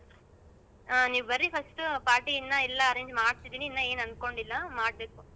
ಹಾ ನೀವ್ ಬರ್ರಿ first ಉ party ಇನ್ನ ಇಲ್ಲ ಎಲ್ಲ arrange ಮಾಡತಾಇದಿವಿ ಇನ್ನ ಏನ್ ಅನ್ಕೊಂಡಿಲ್ಲ ಮಾಡ್ಬೇಕು.